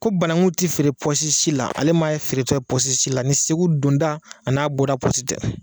Ko banakun tɛ feere pɔsi la, ale m'a ye feere tɔ ye pɔsi la, ni Segu donda ani n'a bɔda pɔsi tɛ